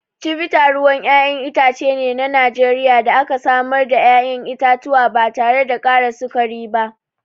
Chivita ruwan ƴaƴan itace ne na Najeriya da aka samar daga ƴaƴan itatuwa ba tare da ƙara sukari ba.